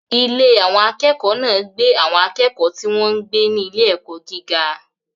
Ilé àwọn akẹ́kọ̀ọ́ náà gbé àwọn akẹ́kọ̀ọ́ tí wọ́n ń gbé ní ilé-ẹ̀kọ́ gíga.